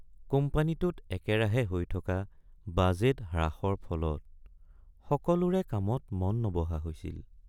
কোম্পানীটোত একেৰাহে হৈ থকা বাজেট হ্ৰাসৰ ফলত সকলোৰে কামত মন নবহা হৈছিল।